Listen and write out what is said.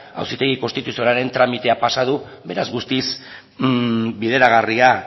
auzitegi konstituzionalaren tramitea pasa du beraz guztiz bideragarria